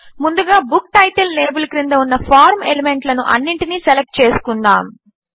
ముందుగా book title label క్రింద ఉన్న ఫార్మ్ ఎలిమెంట్లను అన్నింటినీ సెలెక్ట్ చేసుకుందాము